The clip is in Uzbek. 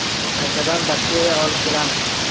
Qaytadan bakteriya olib kelamiz.